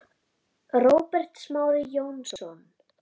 Róbert Smári Jónsson